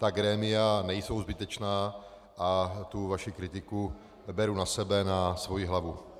Ta grémia nejsou zbytečná a tu vaši kritiku beru na sebe, na svoji hlavu.